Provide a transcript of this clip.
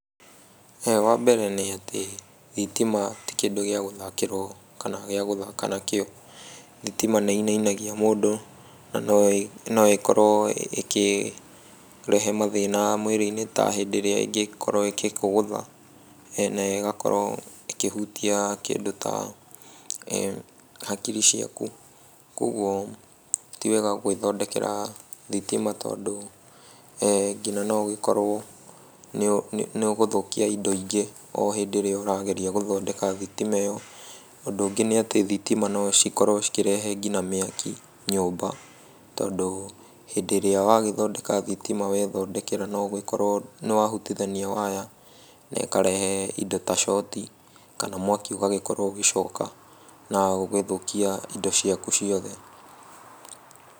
Wambere nĩ atĩ thitima ti kĩndũ gĩa gũthakĩrwo kana gĩa gũthaka nakĩo. Thitima nĩĩinainagia mũndũ na noĩkorwo ĩkĩrehe mathĩna mwĩrĩ-inĩ ta hĩndĩ ĩrĩa ĩngĩkorwo ĩgĩkũgũtha na ĩgakorwo ĩkĩhutia kĩndũ ta hakiri ciaku. Kuoguo ti wega gwĩthondekera thitima tondũ nginya no ũgĩkorwo nĩũgũthũkia indo ingĩ o hĩndĩ ĩrĩa ũrageria gũthondeka thitima ĩyo. Ũndũ ũngĩ nĩ atĩ thitima no cikorwo cikĩrehe nginya mĩaki nyũmba, tondũ hĩndĩ ĩrĩa wagĩthondeka thitima wethondekera no ũgĩkorwo nĩwahutithania waya na ĩkarehe indo ta coti kana mwaki ũgagĩkorwo ũgĩcoka na ũgĩthũkia indo ciaku ciothe.